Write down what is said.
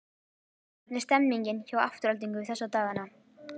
Hvernig er stemmningin hjá Aftureldingu þessa dagana?